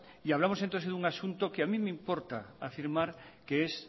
y hablamos entonces de un asunto que a mí me importa afirmar que es